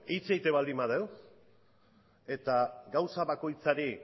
hitz egiten baldin badugu eta gauza bakoitzari